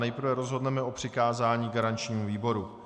Nejprve rozhodneme o přikázání garančnímu výboru.